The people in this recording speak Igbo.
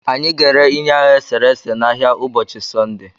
Anyị ga ere ịnye ahụ eserese na ahịa ụbọchị Sọnde